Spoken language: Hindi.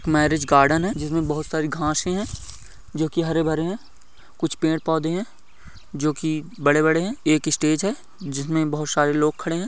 मैरेज गार्डन है। जिसमे बहुत सारी घासे है। जो कि हरे भरे है कुच्छ पेड़ पौधे है जोकि बड़े बड़े है। एक स्टेज है। जिसमे बहुत सारे लोग खड़े है।